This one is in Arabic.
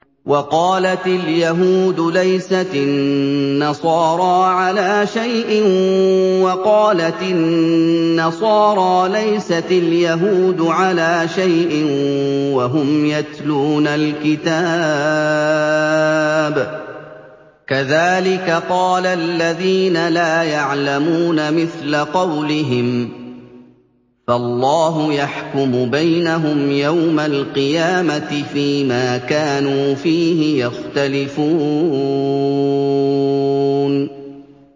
وَقَالَتِ الْيَهُودُ لَيْسَتِ النَّصَارَىٰ عَلَىٰ شَيْءٍ وَقَالَتِ النَّصَارَىٰ لَيْسَتِ الْيَهُودُ عَلَىٰ شَيْءٍ وَهُمْ يَتْلُونَ الْكِتَابَ ۗ كَذَٰلِكَ قَالَ الَّذِينَ لَا يَعْلَمُونَ مِثْلَ قَوْلِهِمْ ۚ فَاللَّهُ يَحْكُمُ بَيْنَهُمْ يَوْمَ الْقِيَامَةِ فِيمَا كَانُوا فِيهِ يَخْتَلِفُونَ